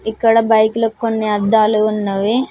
ఇక్కడ బైకులకి కొన్ని అద్దాలు ఉన్నవి.